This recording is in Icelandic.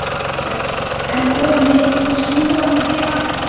Móses, enn of mikið, snúðu við aftur.